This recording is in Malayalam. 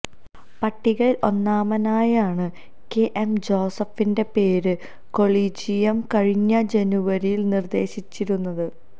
പട്ടികയിൽ ഒന്നാമനായാണ് കെ എം ജോസഫിന്റെ പേര് കൊളീജിയം കഴിഞ്ഞ ജനുവരിയിൽ നിർദേശിച്ചിരുന്നത്